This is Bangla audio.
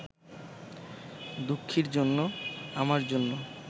দুঃখীর জন্য, আমার জন্য